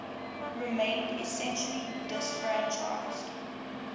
remained essentially disfranchised